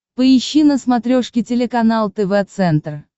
поищи на смотрешке телеканал тв центр